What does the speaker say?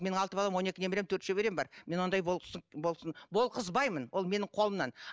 менің алты балам он екі немерем төрт шөберем бар мен ондай болсын болғызбаймын ол менің қолымнан